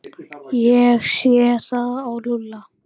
Ég sé það á Lúlla.